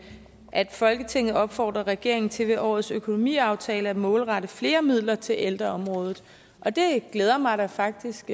at folketinget opfordrer regeringen til ved årets økonomiaftale at målrette flere midler til ældreområdet og det glæder mig da faktisk